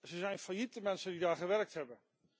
Ze zijn failliet, de mensen die daar gewerkt hebben.